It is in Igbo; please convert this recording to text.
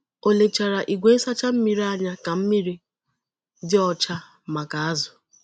O lechara igwe nsacha mmiri anya ka mmiri dị ọcha maka azù.